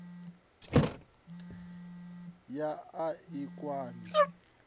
ya a a i kwami